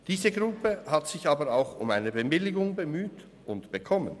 Diese Gruppe hat sich aber auch um eine Bewilligung bemüht und hat diese bekommen.